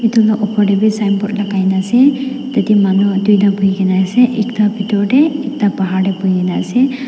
etu la olor de b signboard lagai na ase tade manu duita buhi gina ase ekta bitor de ekta bahar de buhi na ase.